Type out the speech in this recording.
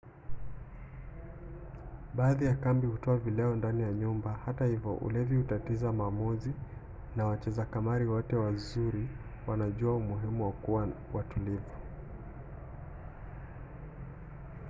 baadhi ya kumbi hutoa vileo ndani ya nyumba. hata hivyo ulevi hutatiza maamuzi na wacheza kamari wote wazuri wanajua umuhimu wa kuwa watulivu